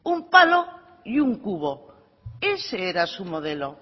un palo y un cubo ese era su modelo